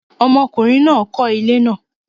ọmọkùnrin náà kọ́ ilé náà